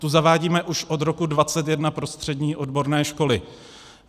Tu zavádíme už od roku 2021 pro střední odborné školy.